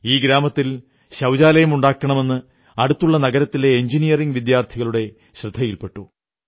ഈ ഗ്രാമത്തിൽ ശൌചാലയുമുണ്ടാക്കണമെന്ന് അടുത്തുള്ള നഗരത്തിലെ എഞ്ചനീയറിംഗ് വിദ്യാർഥികളുടെ ശ്രദ്ധയിൽ പെട്ടു